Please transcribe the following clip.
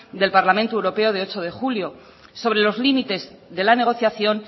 del parlamento europeo del ocho de julio sobre los límites de la negociación